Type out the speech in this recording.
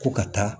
Ko ka taa